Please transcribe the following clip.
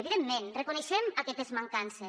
evidentment reconeixem aquestes mancances